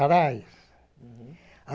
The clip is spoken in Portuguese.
Arais. Uhum